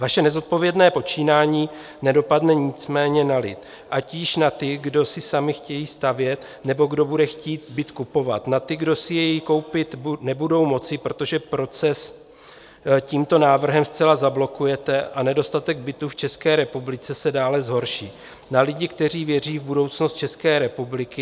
Vaše nezodpovědné počínání nedopadne nicméně na lidi, ať již na ty, kdo si sami chtějí stavět, nebo kdo bude chtít byt kupovat, na ty, kdo si jej koupit nebudou moci, protože proces tímto návrhem zcela zablokujete a nedostatek bytů v České republice se dále zhorší, na lidi, kteří věří v budoucnost České republiky.